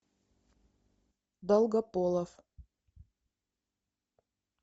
долгополов